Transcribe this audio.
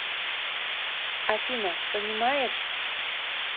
афина понимаешь